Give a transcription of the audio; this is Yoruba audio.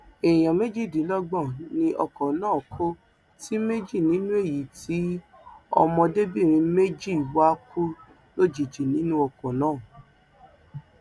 èèyàn méjìdínlọgbọn ni ọkọ náà kó ti méje nínú èyí tí ọmọdébìnrin méjì wá kú lójijì nínú ọkọ náà